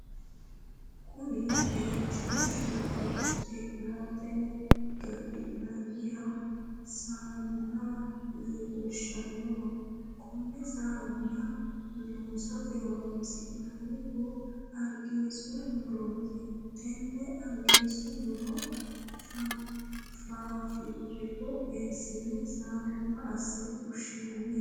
Kunni egenshiishu co'inaate gafhinnanniha saamunna leelishanoho. Konne saamunna loosate horoonsi'noonnihu argiisu murooti. Tenne argiisu muro faafirika eesine saamunna asinne fushinnanni.